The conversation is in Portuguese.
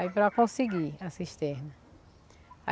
Aí para conseguir a cisterna.